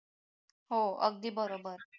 हो अगदी बरोबर